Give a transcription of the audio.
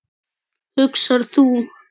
hugsar þú.